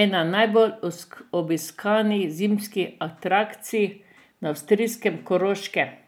ena najbolje obiskanih zimskih atrakcij na avstrijskem Koroškem.